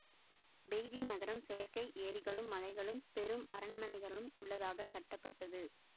Beijing நகரம் செயற்கை ஏரிகளும் மலைகளும் பெரும் அரண்மனைகளும் உள்ளதாக கட்டப்பட்டது